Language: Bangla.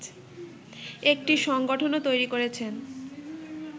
একটি সাংগঠনও তৈরী করেছেন